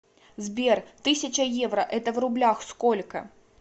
сбер тысяча евро это в рублях сколько